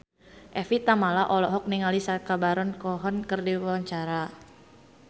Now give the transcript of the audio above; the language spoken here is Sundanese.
Evie Tamala olohok ningali Sacha Baron Cohen keur diwawancara